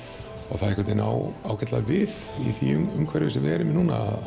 það á ágætlega við í því umhverfi sem við erum núna